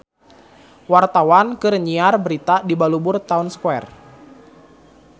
Wartawan keur nyiar berita di Balubur Town Square